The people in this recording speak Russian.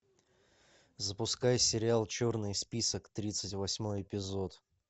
запускай сериал черный список тридцать восьмой эпизод